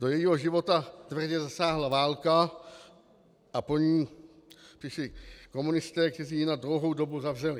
Do jejího života tvrdě zasáhla válka a po ní přišli komunisté, kteří ji na dlouhou dobu zavřeli.